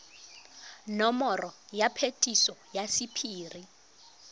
nomoro ya phetiso ya sephiri